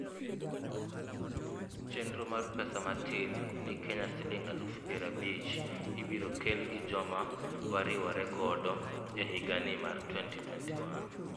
Chenro mar pesa matin ni Kenya siling aluf piero abich(50K) ibiro kel gi joma wariwore godo e higani mar 2021